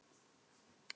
segir hún loks.